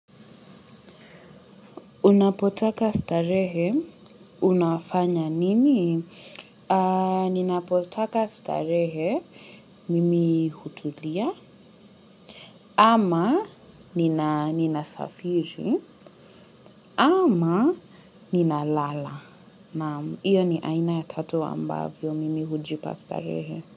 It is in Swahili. Unapotaka starehe, unafanya nini? Nina potaka starehe, mimi hutulia, ama nina safiri, ama nina lala. Iyo ni aina ya tatu ambavyo, mimi hujipa starehe.